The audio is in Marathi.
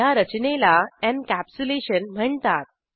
ह्या रचनेला एनकॅप्सुलेशन म्हणतात